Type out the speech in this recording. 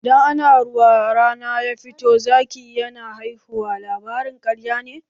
"Idan ana ruwa kuma rana ya fito toh Zaki yana haihuwa" labarin ƙarya ne.